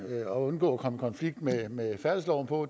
at undgå at komme i konflikt med med færdselsloven på